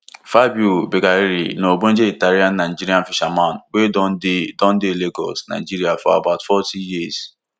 fabio beccarelli na ogbonge italiannigerian fisherman wey don dey don dey lagos nigeria for about forty years